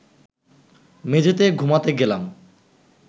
মেঝেতে ঘুমাতে গেলাম